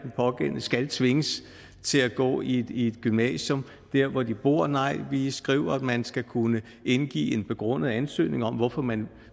pågældende skal tvinges til at gå i et gymnasium der hvor de bor nej vi skriver at man skal kunne indgive en begrundet ansøgning om hvorfor man